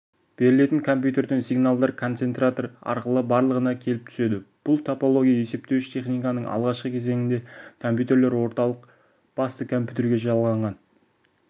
берілетін компьютерден сигналдар концентратор арқылы барлығына келіп түседі бұл топология есептеуіш техниканың алғашкы кезінде компьютерлер орталық басты компьютерге жалғанған